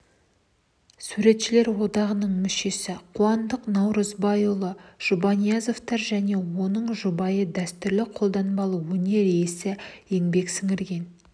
суретшілер одағының мүшесі қуандық наурызбайұлы жұбаниязов және оның жұбайы дәстүрлі қолданбалы өнер иесі еңбек сіңірген